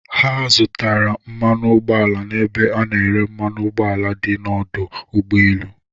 Ha zụtara mmanụ ụgbọ ala n'ebe a na-ere mmanụ ụgbọala dị n'ọdụ ụgbọ elu.